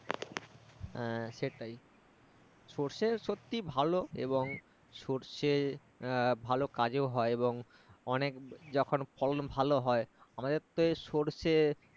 আহ সেটাই সর্ষে সত্যি ভালো এবং সর্ষে এ ভালো কাজেও হয় এবং অনেক যখন ফলন ভালো হয় আমাদের তো এই সর্ষে